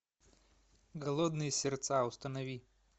голодные сердца установи